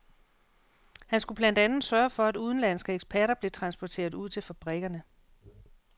Han skulle blandt andet sørge for, at udenlandske eksperter blev transporteret ud til fabrikkerne.